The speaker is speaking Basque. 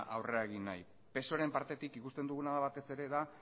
aurrera egin nahi psoeren partetik ikusten duguna da batez ere da